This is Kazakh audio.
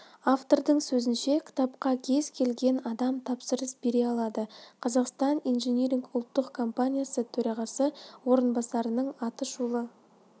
автордың сөзінше кітапқа кез келген адам тапсырыс бере алады қазақстан инжиниринг ұлттық компаниясы төрағасы орынбарасының атышулы